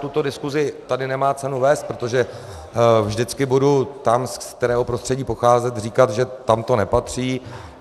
Tuto diskusi tady nemá cenu vést, protože vždycky budu tam, z kterého prostředí pocházím, říkat, že tam to nepatří.